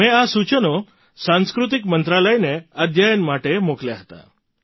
મેં તેમને સંસ્કૃતિ મંત્રાલયને અભ્યાસ માટે મોકલ્યાં હતાં